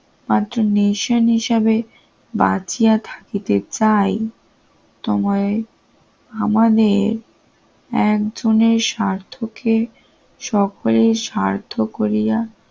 পার্ফনিশন হিসেবে বাঁচিয়া থাকিতে চাই তোমায় আমাদের একজনের স্বার্থকে সকলের স্বার্থ করিয়া